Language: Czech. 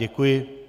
Děkuji.